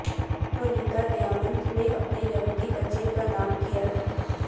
Anita Diamant نے اپنے یہودی بچے کا نام کیا ہے